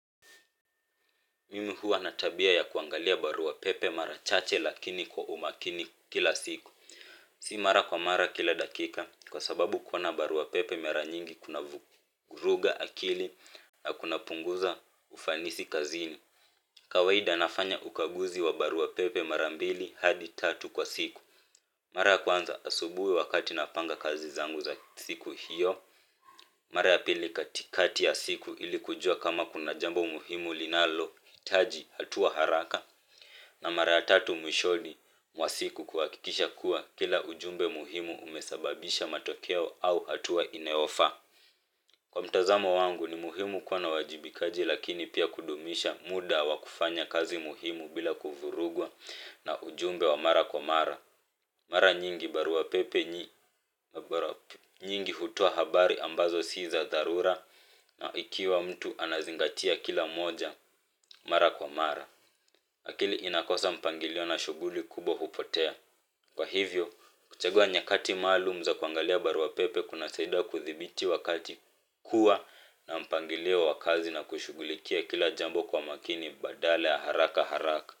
Mimi huwa na tabia ya kuangalia barua pepe marachache lakini kwa umakini kila siku. Si mara kwa mara kila dakika kwa sababu kuwa na barua pepe mara nyingi kunavuruga akili na kunapunguza ufanisi kazini. Kawaida nafanya ukaguzi wa barua pepe marambili hadi tatu kwa siku. Mara ya kwnza asubuhi wakati napanga kazi zangu za siku hiyo mara ya pili katikati ya siku ili kujua kama kuna jambo muhimu linalohitaji hatua haraka na mara ya tatu mwishoni mwa siku kuhakikisha kuwa kila ujumbe muhimu umesababisha matokeo au hatua inayofaa kwa mtazamo wangu ni muhimu kuwa na uwajibikaji lakini pia kudumisha muda wa kufanya kazi muhimu bila kuvurugwa na ujumbe wa mara kwa mara. Mara nyingi baruapepe nyingi hutoa habari ambazo si za dharura ikiwa mtu anazingatia kila moja mara kwa mara. Akili inakosa mpangilio na shughuli kubwa hupotea kwa hivyo kuchagua nyakati maalum za kuangalia barua pepe kunasaidia kudhibiti wakati kuwa na mpangilio wa kazi na kushugulikia kila jambo kwa makiji badala ya haraka haraka.